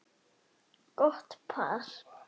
Gott par.